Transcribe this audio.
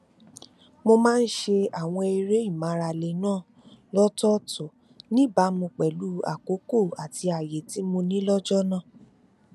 àwọn tọkọtaya pinnu láti fi ìdá ogún nínú ogóòrún ti owóọyà wọn sọtọ sí ilé àlá wọn